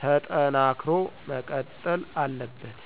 ተጠናክሮ መቀጠል አለበት።